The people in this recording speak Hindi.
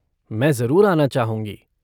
मैं जरुर आना चाहूँगी।